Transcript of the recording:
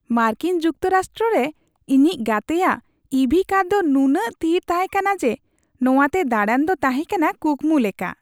ᱢᱟᱨᱠᱤᱱ ᱡᱩᱠᱛᱚᱨᱟᱥᱴᱨᱚ ᱨᱮ ᱤᱧᱤᱡ ᱜᱟᱛᱮᱭᱟᱜ ᱤᱵᱷᱤ ᱠᱟᱨ ᱫᱚ ᱱᱩᱱᱟᱹᱜ ᱛᱷᱤᱨ ᱛᱟᱦᱮᱸ ᱠᱟᱱᱟ ᱡᱮ ᱱᱚᱶᱟᱛᱮ ᱫᱟᱲᱟᱱ ᱫᱚ ᱛᱟᱦᱮᱸ ᱠᱟᱱᱟ ᱠᱩᱠᱢᱩ ᱞᱮᱠᱟ ᱾